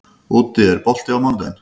Úddi, er bolti á mánudaginn?